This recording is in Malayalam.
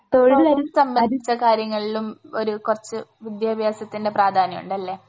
തൊഴിൽ സംബന്ധിച്ച കാര്യങ്ങളിലും ഒരു കുറച്ച് വിദ്യാഭ്യാസത്തിൻറെ പ്രാധാന്യമുണ്ട് അല്ലേ?